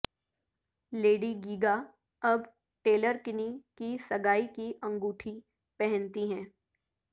lady Gaga اب Taylor Kinney کی سگائ کی انگوٹی پہنتی ہے